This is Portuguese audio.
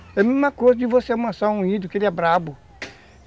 É a mesma coisa de você amansar um índio que ele é brabo.